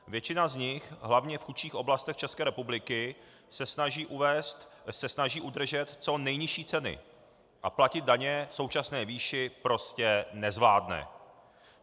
Většina z nich, hlavně v chudších oblastech České republiky, se snaží udržet co nejnižší ceny a platit daně v současné výši prostě nezvládne.